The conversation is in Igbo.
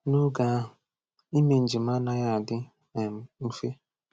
N’oge ahụ, ime njem anaghị adị um mfe.